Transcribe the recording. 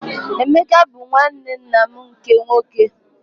Emeka bụ nwanne nna m nke nwoke.